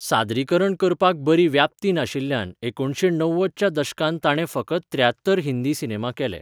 सादरीकरण करपाक बरी व्याप्ती नाशिल्ल्यान एकुणशे णव्वद च्या दशकांत ताणें फकत त्रेयात्तर हिंदी सिनेमा केले